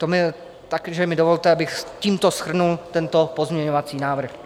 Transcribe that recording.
Takže mi dovolte, abych tímto shrnul tento pozměňovací návrh.